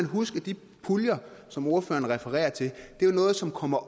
huske at de puljer som ordføreren refererer til er noget som kommer